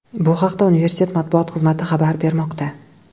Bu haqda universitet matbuot xizmati xabar bermoqda .